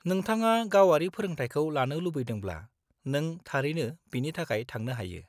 नोंथाङा गावारि फोरोंथायखौ लानो लुबैदोंब्ला, नों थारैनो बिनि थाखाय थांनो हायो।